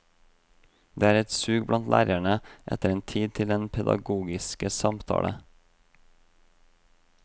Det er et sug blant lærere etter tid til den pedagogiske samtale.